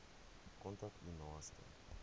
kontak u naaste